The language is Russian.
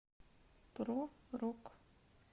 про рок